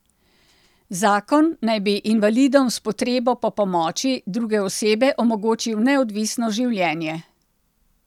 Zakon naj bi invalidom s potrebo po pomoči druge osebe omogočil neodvisno življenje.